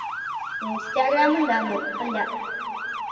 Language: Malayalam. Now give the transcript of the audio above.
ഇൻസ്റ്റാഗ്രാം ഉണ്ടായിരുന്നു ഇപ്പൊ ഇല്ല